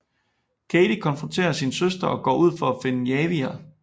Katey konfronterer sin søster og går ud for at finde Javier